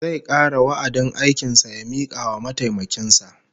Zai kare wa'adin aikin sa ya mika wa mataimakin sa